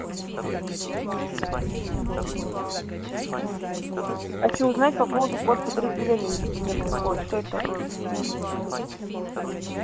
хочу узнать по поводу код подразделения мне приходит что это такое